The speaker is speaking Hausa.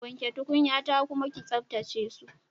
Wanke tukunyata kuma ke tsaftace su.